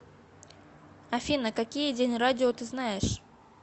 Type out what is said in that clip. афина какие день радио ты знаешь